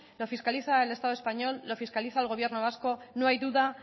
lo fiscaliza el estado español lo fiscaliza el gobierno vasco no hay duda